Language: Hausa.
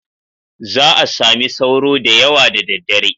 Za a sami sauro da yawa da daddare.